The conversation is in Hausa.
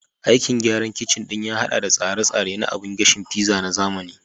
Aikin gyaran kicin ɗin ya haɗa da tsare-tsare na abun gashin pizza na zamani